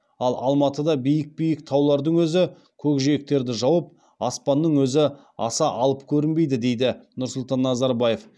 ал алматыда биік биік таулардың өзі көк жиектерді жауып аспанның өзі аса алып көрінбейді дейді нұрсұлтан назарбаев